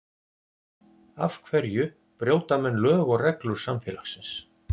Af hverja brjóta menn lög og reglur samfélagsins?